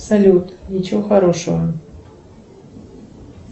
салют ничего хорошего